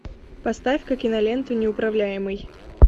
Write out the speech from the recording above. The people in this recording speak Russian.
поставь ка киноленту неуправляемый